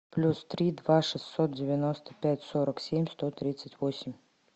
плюс три два шестьсот девяносто пять сорок семь сто тридцать восемь